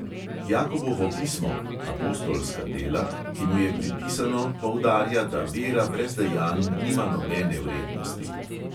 Jakobovo pismo (apostolska dela), ki mu je pripisano, poudarja, da vera brez dejanj nima nobene vrednosti.